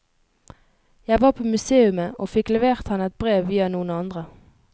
Jeg var på museumet og fikk levert han et brev via noen andre.